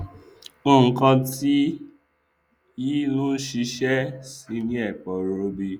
nkan tí ẹrọ yìí nlò ṣiṣẹ sì ni eporọbì